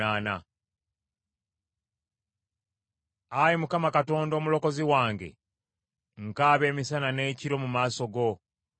Ayi Mukama Katonda, Omulokozi wange, nkaaba emisana n’ekiro mu maaso go.